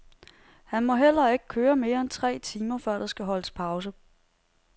Han må heller ikke køre mere end tre timer, før der skal holdes pause.